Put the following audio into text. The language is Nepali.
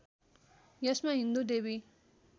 यसमा हिन्दू देवी